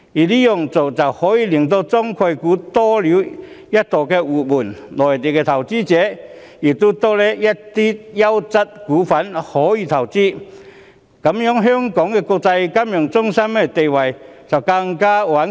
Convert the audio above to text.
這樣做可以令中概股多了一道活門，讓內地投資者可以投資更多優質股份，令香港金融中心地位更加穩固。